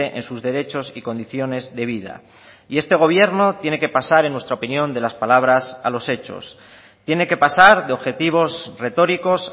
en sus derechos y condiciones de vida y este gobierno tiene que pasar en nuestra opinión de las palabras a los hechos tiene que pasar de objetivos retóricos